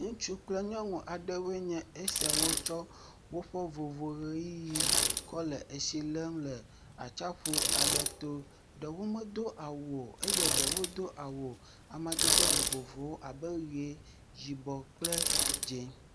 Ŋutsu kple nyɔnu aɖewoe nye esia tsɔ woƒe vovoʋeyiyi kɔ le etsi lem le atsiaƒu aɖe to. Ɖewo medo awu o, eye ɖewo do awu amadede vovovowo abe ʋe, yibɔ kple dzẽ.